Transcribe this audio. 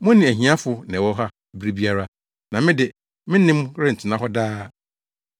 Mo ne ahiafo na ɛwɔ hɔ bere biara, na me de, me ne mo rentena hɔ daa.”